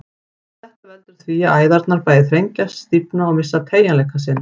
Þetta veldur því að æðarnar bæði þrengjast, stífna og missa teygjanleika sinn.